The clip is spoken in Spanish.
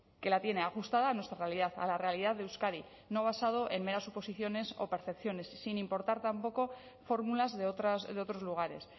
que la tiene ajustada a nuestra realidad a la realidad de euskadi no basado en meras suposiciones o percepciones sin importar tampoco fórmulas de otros lugares